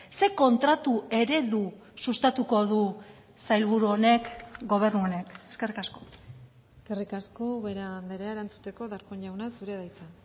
zein kontratu eredu sustatuko du sailburu honek gobernu honek eskerrik asko eskerrik asko ubera andrea erantzuteko darpón jauna zurea da hitza